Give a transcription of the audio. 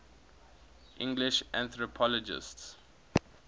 english anthropologists